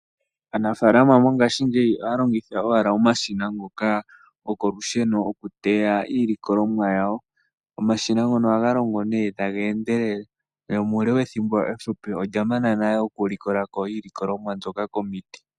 Aanafalama mongashingeyi ohaya longitha owala omashina ngoka gwokolusheno oku teya iilikolomwa yawo ,omashina ngono ohaga longo ne taga endelele, nomule wethimbo eshona olya mana nale oku likolako iilikolomwa mboka komiti